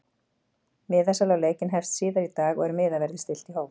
MIðasala á leikinn hefst síðar í dag og er miðaverði stillt í hóf.